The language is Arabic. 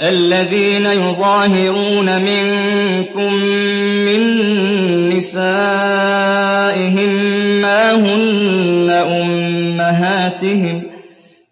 الَّذِينَ يُظَاهِرُونَ مِنكُم مِّن نِّسَائِهِم مَّا هُنَّ أُمَّهَاتِهِمْ ۖ